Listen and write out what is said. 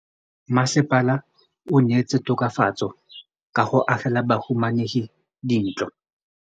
Mmasepala o neetse tokafatsô ka go agela bahumanegi dintlo.